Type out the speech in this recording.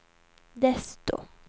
desto